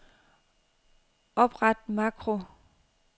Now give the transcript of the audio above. Opret makro.